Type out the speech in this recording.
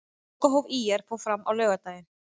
Lokahóf ÍR fór fram á laugardaginn.